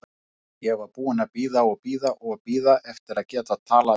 Ég var búin að bíða og bíða og bíða eftir að geta talað við þig.